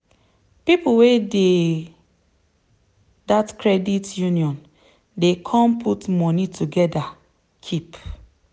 people wey dey dat credit union dey come put moni together keep.